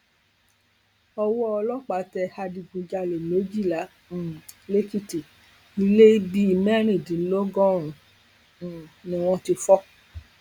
owó ọlọpàá tẹ adigunjalè méjìlá um lẹkìtì ilẹ bíi mẹrìndínlọgọrùnún um ni wọn ti fọ